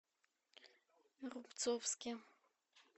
рубцовске